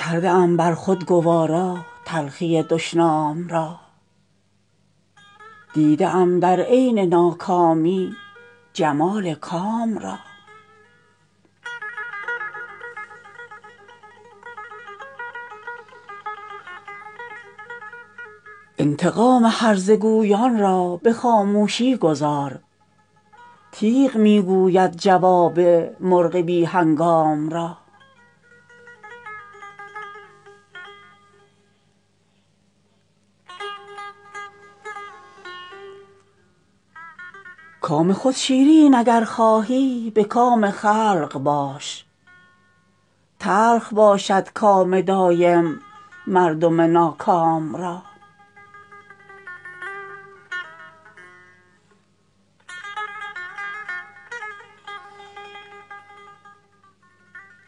کرده ام بر خود گوارا تلخی دشنام را دیده ام در عین ناکامی جمال کام را انتقام هرزه گویان را به خاموشی گذار تیغ می گوید جواب مرغ بی هنگام را کام خود شیرین اگر خواهی به کام خلق باش تلخ باشد کام دایم مردم ناکام را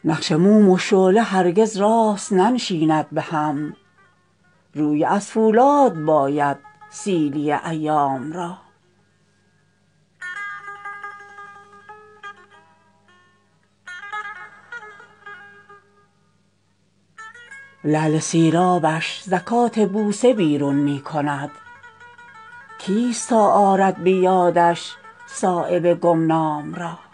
نقش موم و شعله هرگز راست ننشیند به هم روی از فولاد باید سیلی ایام را لعل سیرابش زکات بوسه بیرون می کند کیست تا آرد به یادش صایب گمنام را